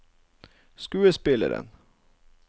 skuespilleren